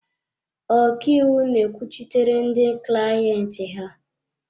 Ọkaiwu na-ekwuchitere ndị clayenti ha.